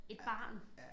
Et barn